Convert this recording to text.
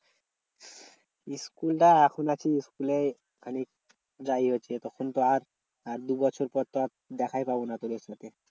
School এ আসি নাকি school এ খালি যাই হচ্ছে তখন তো আর আর দু বছর পর তো আর দেখায় পাবো না তোদের সাথে।